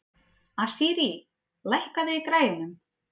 Asírí, lækkaðu í græjunum.